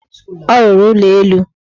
Ọ rụrụ ụlọelu.